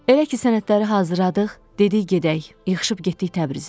Elə ki sənədləri hazırladıq, dedi gedək, yığışıb getdik Təbrizə.